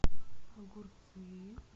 огурцы